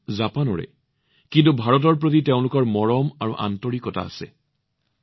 তেওঁলোক জাপানৰ কিন্তু ভাৰতৰ প্ৰতি তেওঁলোকৰ এক শক্তিশালী আসক্তি আৰু মৰম আছে